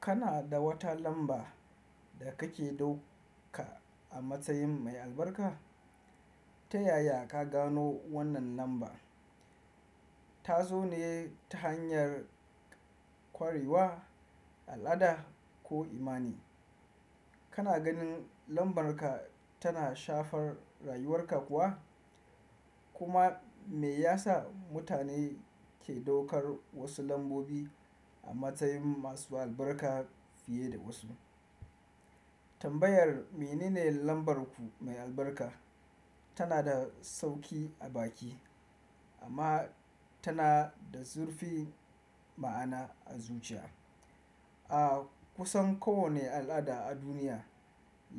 Kana da wata lamba da kake ɗauka a matsayin mai albarka? Ta yaya ka gano wannan lamba? Ta zo ne ta hanyar ƙwarewa, al'ada ko imani? Kana ganin lambarka tana shafar rayuwarka kuwa? Kuma me ya sa mutane ke daukar wasu lambobi a matsayin masu albarka fiye da wasu? Tambayar "Menene lambarku mai albarka?" tana da sauki a baki amma tana da zurfi ma'ana a zuciya. A kusan kowane al'ada a duniya,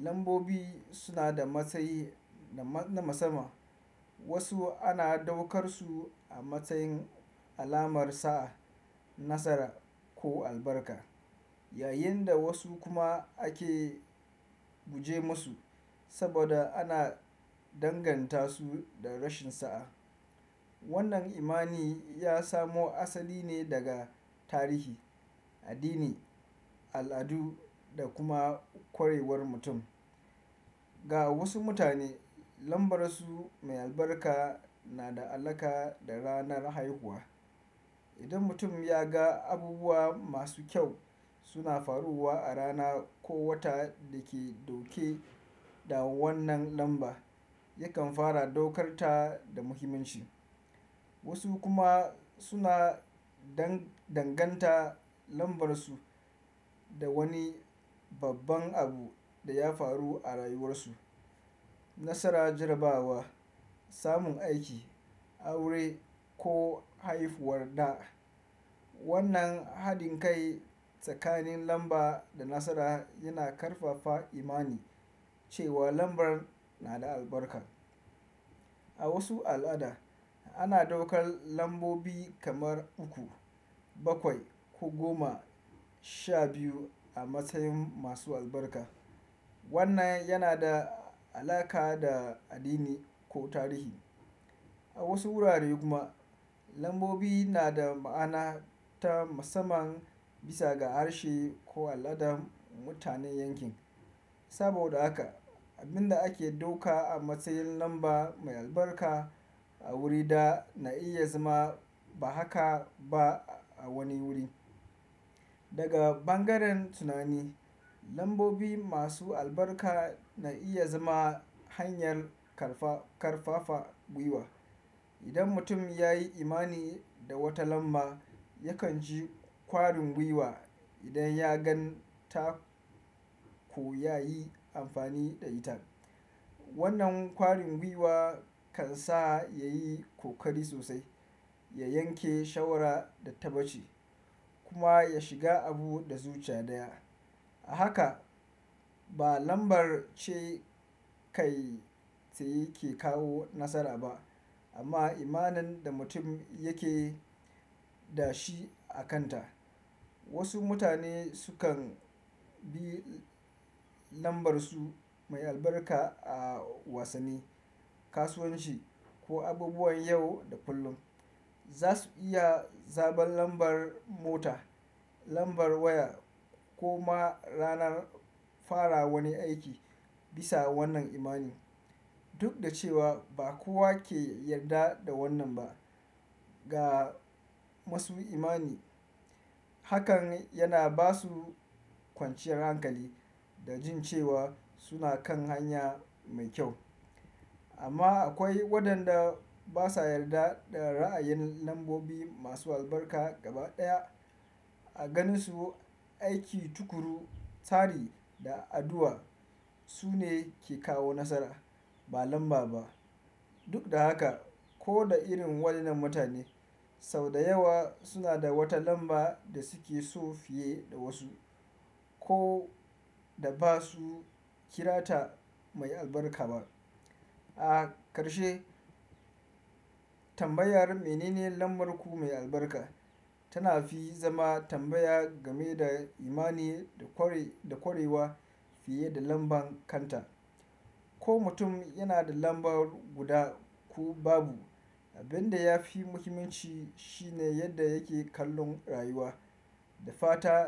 lambobi suna da matsayi na musamman. Wasu ana daukar su a matsayin alamar sa'a, nasara, ko albarka, yayin da wasu kuma ake guje masu saboda ana danganta su da rashin sa'a. Wannan imani ya samo asali ne daga tarihi, addini, al'adu da kuma ƙwarewar mutum. Ga wasu mutane, lambarsu mai albarka na da alaƙa da ranar haihuwa. Idan mutum ya ga abubuwa masu kyau suna faruwa a rana ko wata da ke dauke da wannan lamba, yakan fara ɗaukar ta da muhimmanci. Wasu kuma suna danganta lambarsu da wani babban abu da ya faru a rayuwarsu: nasara jarabawa, samun aiki, aure ko haifuwar ɗa. Wannan haɗin kai tsakanin lamba da nasara yana ƙarfafa imani cewa lambar na da albarka. A wasu al'ada, ana daukar lambobi kamar uku, bakwai ko goma sha biyu a matsayin masu albarka. Wannan yana da alaƙa da addini ko tarihi. A wasu wurare kuma, lambobi na da ma'ana ta musamman bisa ga harshe ko al'adar mutanen yankin. Saboda haka, abin da ake ɗauka a matsayin lamba mai albarka a wuri ɗaya na iya zama ba haka ba a wani wuri. Daga bangaren tunani, lambobi masu albarka na iya zama hanyar ƙarfafa gwiwa. Idan mutum ya yi imani da wata lamba, yakan ji kwarin gwiwa idan ya gan ta ko ya yi amfani da ita. Wannan kwarin gwiwa kan sa ya yi ƙoƙari sosai, ya yanke shawara da tabbaci kuma ya shiga abu da zuciya ɗaya. A haka, ba lambar ce kai tsaye ke kawo nasara ba amma imanin da mutum yake da shi a kanta. Wasu mutane sukan bi lambarsu mai albarka a wasanni, kasuwanci ko abubuwan yau da kullum. Za su iya zaɓan lambar mota, lambar waya ko ma ranar fara wani aiki bisa wannan imani. Duk da cewa ba kowa ke yarda da wannan ba, ga masu imani, hakan yana ba su kwanciyar hankali da jin cewa suna kan hanya mai kyau. Amma akwai waɗanda ba sa yarda da ra'ayin lambobi masu albarka gaba ɗaya. A ganin su, aiki tukuru, tsari da addu'a su ne ke kawo nasara, ba lamba ba. Duk da haka, ko da irin waƴan nan mutane, sau da yawa suna da wata lamba da suke so fiye da wasu ko da ba su kira ta mai albarka ba. A ƙarshe, tambayar "Menene lambarku mai albarka?" tana fi zama tambaya game da imani da ƙwarewa fiye da lambar kanta. Ko mutum yana da lamba guda ko babu, abin da ya fi muhimmanci shi ne yadda yake kallon rayuwa da fata.